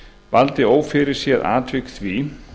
valdi ófyrirséð atvik því